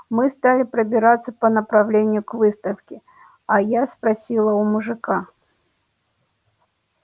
мы стали пробираться по направлению к выставке а я спросила у мужика